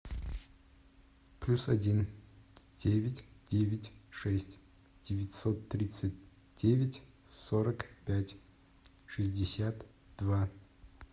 плюс один девять девять шесть девятьсот тридцать девять сорок пять шестьдесят два